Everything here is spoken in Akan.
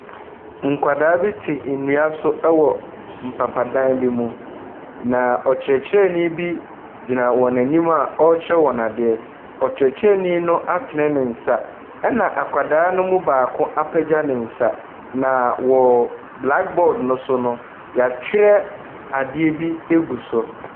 Nkwadaa bi te nnua so wɔ mpapadan bi mu, na ɔkyerɛkyerɛni bi gyina wɔn anim a ɔrekyerɛ wɔn adeɛ. Ɔkyerɛkyerɛni no atene ne nsa, ɛnna akwadaa no mu baako apagya ne nsa, na wɔ blaɔkboard no so no wɔatwerɛ adeɛ agu so.